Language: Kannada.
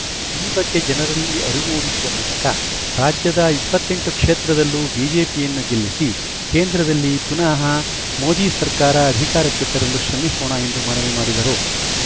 ಈ ಬಗ್ಗೆ ಜನರಲ್ಲಿ ಅರಿವು ಮೂಡಿಸುವ ಮೂಲಕ ರಾಜ್ಯದ ಇಪ್ಪತ್ತ್ ಎಂಟು ಕ್ಷೇತ್ರದಲ್ಲೂ ಬಿಜೆಪಿಯನ್ನು ಗೆಲ್ಲಿಸಿ ಕೇಂದ್ರದಲ್ಲಿ ಪುನಹ ಮೋದಿ ಸರ್ಕಾರ ಅಧಿಕಾರಕ್ಕೆ ತರಲು ಶ್ರಮಿಸೋಣ ಎಂದು ಮನವಿ ಮಾಡಿದರು